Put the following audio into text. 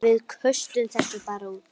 Við köstum þessu bara út.